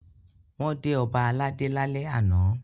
Wọ́n dé ọba aládé lálẹ́ àná.